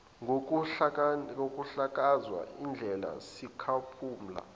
ngokuhlakaza isidleke sikaphumla